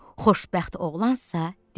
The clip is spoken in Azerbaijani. Xoşbəxt oğlansa dedi: